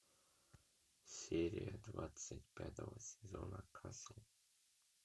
серия двадцать пятого сезона касл